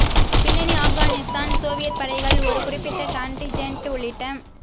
பின்னணி ஆப்கானிஸ்தான் சோவியத் படைகள் ஒரு குறிப்பிட்ட கான்டின்ஜென்ட் உள்ளிட்ட